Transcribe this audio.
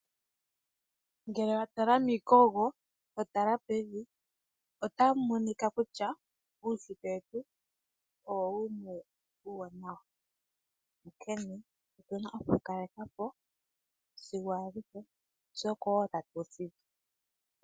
Ngele watala miikogo eto tala pevi otamu monika kutya uushitwe wetu Owo wumwe uuwanawa nonkene otuna oku wukaleka po sigo aluhe.